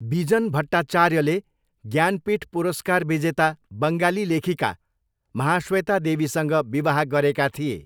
बिजन भट्टाचार्यले ज्ञानपीठ पुरस्कार विजेता बङ्गाली लेखिका महाश्वेता देवीसँग विवाह गरेका थिए।